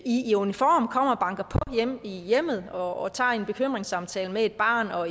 i uniform kommer og banker på i hjemmet og tager en bekymringssamtale med et barn og